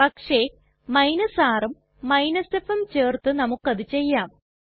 പക്ഷെ rഉം fഉം ചേർത്ത് നമുക്കത് ചെയ്യാം